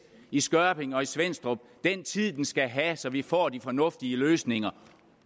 i skørping og i svenstrup den tid den skal have så vi får de fornuftige løsninger